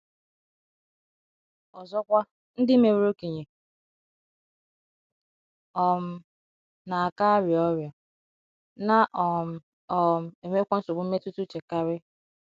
Ọzọkwa, ndị meworo okenye.. um. na - aka arịa ọrịa, na um - um enwekwa nsogbu mmetụta uche karị.